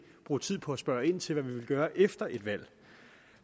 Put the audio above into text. bruge tid på at spørge ind til hvad vi vil gøre efter et valg